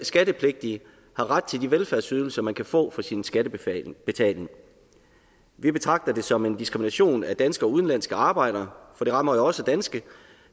skattepligtige har ret til de velfærdsydelser man kan få for sin skattebetaling vi betragter det som en diskrimination af danske og udenlandske arbejdere for det rammer jo også danske